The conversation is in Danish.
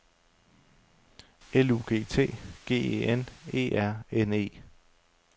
L U G T G E N E R N E